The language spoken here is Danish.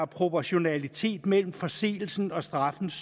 proportionalitet mellem forseelsen og straffens